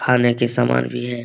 खाने के समान भी है।